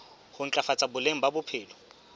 ho ntlafatsa boleng ba bophelo